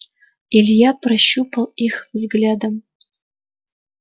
илья прощупал их взглядом